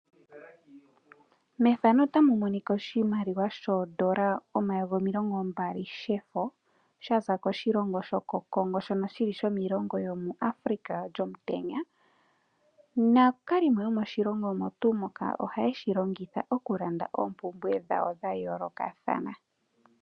Oshimaliwa shoondola omayovi omilongo mbali shefo shaza koshilongo shoko Congo shono shili shomiilongo yomu Africa lyomutenya. Naakalimo yomoshilongo omo tuu moka oha yeshi longitha oku landa oompumbwe dhawo dha yoolokathana.